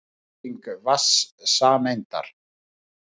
Bygging vatnssameindar.